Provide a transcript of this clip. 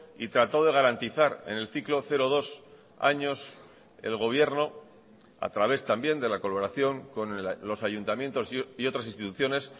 y trató de garantizar en el ciclo cero dos años el gobierno a través también de la coloración con los ayuntamientos y otras instituciones